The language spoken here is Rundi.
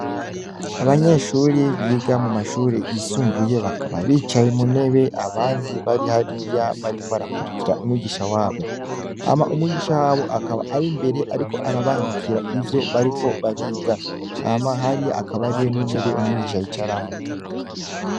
Abanyeshure biga mumashure yisumbuye bakaba bicaye muntebe abandi bari hariya bariko barakurikira umwigisha wabo, hama umwigisha wabo akaba ari imbere ariko arabandikira ivyo bariko bariga, hama hariya hakaba hariyo intebe umwigisha yicaramwo.